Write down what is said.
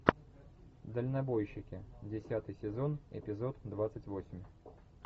дальнобойщики десятый сезон эпизод двадцать восемь